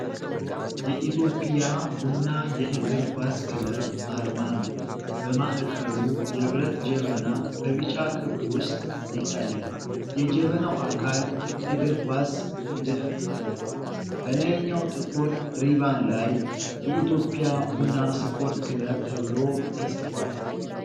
የኢትዮጵያ ቡና የእግር ኳስ ክለብ አርማ ነው። በማዕከሉ የብረት ጀበና በቢጫ ክብ ውስጥ ይታያል፤ የጀበናው አካል የእግር ኳስ ንድፍ አለው። በላይኛው ጥቁር ሪባን ላይ "የኢትዮጵያ ቡና ስፖርት ክለብ"' ተብሎ ተጽፏል።